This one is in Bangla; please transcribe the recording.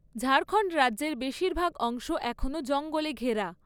ঝাড়খণ্ড রাজ্যের বেশিরভাগ অংশ এখনও জঙ্গলে ঘেরা।